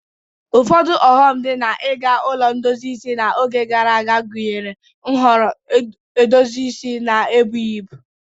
Ụfọdụ ọghọm dị na iga ụlọ ndozi isi n'oge gara aga gụnyere nhọrọ edozi isi na ebughi ibu.